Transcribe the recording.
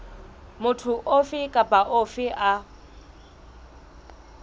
motho ofe kapa ofe a